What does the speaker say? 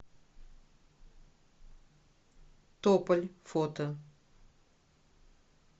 тополь фото